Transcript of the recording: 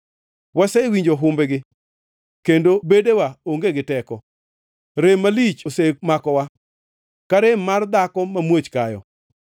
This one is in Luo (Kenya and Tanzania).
Wasewinjo humbgi, kendo bedewa onge gi teko. Rem malich osemakowa, ka rem mar dhako mamuoch kayo.